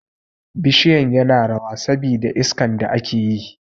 Bishiyan yana rawa sabi da iskan da ake yi